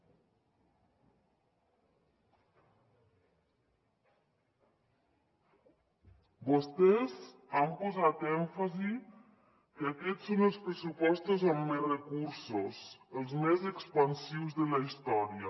vostès han posat èmfasi que aquests són els pressupostos amb més recursos els més expansius de la història